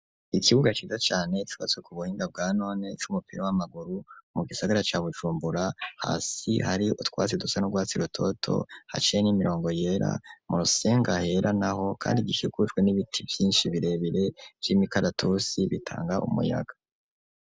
Ikibuga ciza cane cubatswe ku buhinga bwa none c'umupira w'amaguru mu gisagara ca Bujumbura, hasi hari utwasi dusa n'ubwatsi rutoto haciye n'imirongo yera mu rusenga hera naho kandi ikikujwe n'ibiti byinshi birebire vy'imikaratusi bitanga umuyaga.